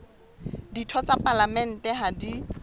ditho tsa palamente ha di